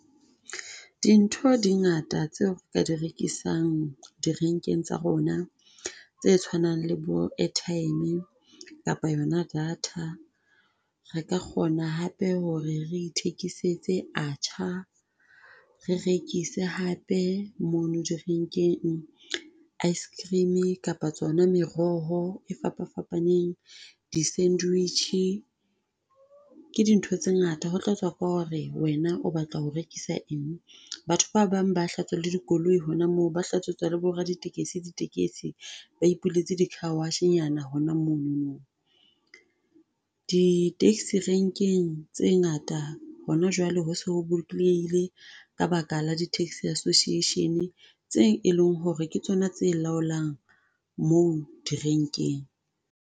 Dintho di ngata tseo re ka di rekisang direnkeng tsa rona tse tshwanang le bo airtime kapa yona data. Re ka kgona hape ho re re ithekisetse atchaar, re rekise hape mono direnkeng ice cream kapa tsona meroho e fapa fapaneng, di-sandwich. Ke dintho tse ngata ho tlatswa ka ho re wena o batla ho rekisa eng. Batho ba bang ba hlatswa le dikoloi hona moo, ba hlatswetsa le bo raditekesi di tekesi, ba ipuletse di-carwash-nyana hona mono. Di-taxi renkeng tse ngata hona jwale ho so ho bolokelehile ka baka la di taxi association tse eleng ho re ke tsona tse laolang moo direnkeng.